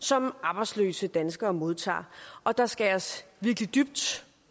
som arbejdsløse danskere modtager og der skæres virkelig dybt